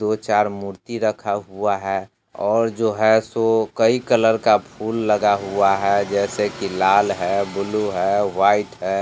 दो चार मूर्ति रखा हुआ है और जो है सो कई कलर का फुल लगा हुआ है। जैसे कि लाल है ब्लू है व्हाइट है।